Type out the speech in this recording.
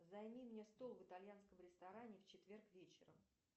займи мне стол в итальянском ресторане в четверг вечером